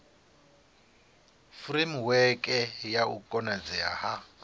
furemiweke ya u konadzea ha